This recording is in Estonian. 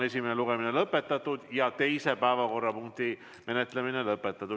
Esimene lugemine on lõpetatud ja teise päevakorrapunkti menetlemine lõpetatud.